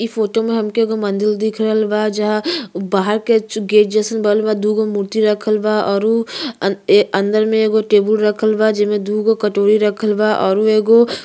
इ फोटो में हमके एगो मंदिल दिख रहल बा जहाँ बाहर के गेट जइसन बनल बा। दू गो मूर्ति रखल बा और अंदर में एगो टेबुल रखल बा जेमें दू गो कटोरी रखल बा औरु एगो --